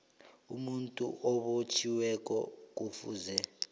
umuntu obotjhiweko kufuze